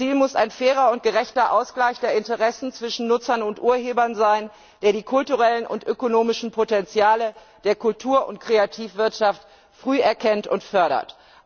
Ziel muss ein fairer und gerechter Ausgleich der Interessen zwischen Nutzern und Urhebern sein, der die kulturellen und ökonomischen Potenziale der Kultur und Kreativwirtschaft früh erkennt und fördert.